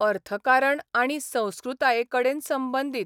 अर्थकारण आनी संस्कृतायेकडेन संबंदीत.